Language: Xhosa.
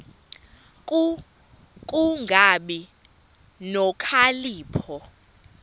ku kungabi nokhalipho